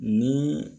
Ni